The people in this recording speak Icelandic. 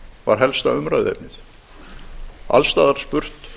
var helsta umræðuefnið alls staðar var spurt